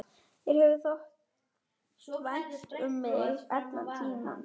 Þér hefur þótt vænt um mig allan tímann.